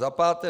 Za páté.